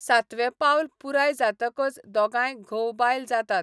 सातवें पावल पुराय जातकच दोगांय घोव बायल जातात.